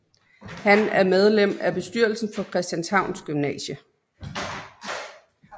Han er medlem af bestyrelsen for Christianshavns Gymnasium